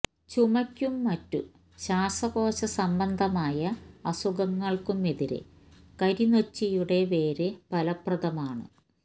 ചുമയ്ക്കും മറ്റ് ശ്വാസകോശ സംബന്ധമായ അസുഖങ്ങൾക്കും എതിരെ കരിനോച്ചിയുടെ വേര് ഫലപ്രദമാണ്